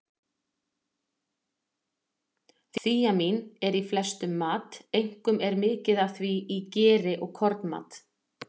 Þíamín er í flestum mat, einkum er mikið af því í geri og kornmat.